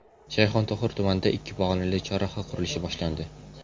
Shayxontohur tumanida ikki pog‘onali chorraha qurilishi boshlandi .